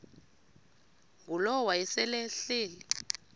ngulowo wayesel ehleli